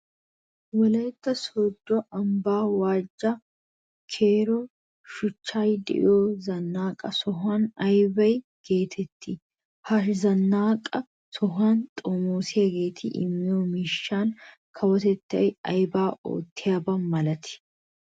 Wolaytta sooddo ambban Waja Kero shuchchan de'iya zannaqa soho aybaa geetettii? Ha zannaqa sohuwa xomoosiyageeti immiyo miishshan kawotettay aybaa oottiyaba malatii?